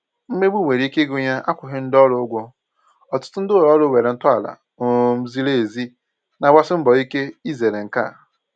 Mmegbu nwere ike ịgụnye akwụghị ndị orù ụ́gwọ̀, ọtụtụ ndị ụlọ òrụ́ nwere ntọala um zìrì èzì na-agbàsì mbọ ike izèrè nke a.